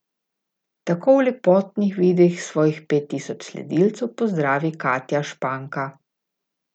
Tako v lepotnih videih svojih pet tisoč sledilcev pozdravi Katja Španka.